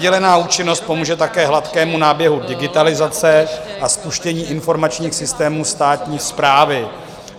Dělená účinnost pomůže také hladkému náběhu digitalizace a spuštění informačních systémů státní správy.